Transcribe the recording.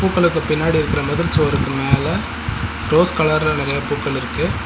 பூக்களுக்கு பின்னாடி இருக்குற மதில் சுவருக்கு மேல ரோஸ் கலர்ல நெறைய பூக்கள் இருக்கு.